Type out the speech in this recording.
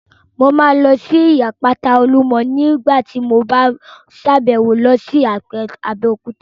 Mo máa lọ sí ibi àpáta Olúmọ ní nígbàtí mo bá sàbẹ̀wo lọ sí Abéòkúta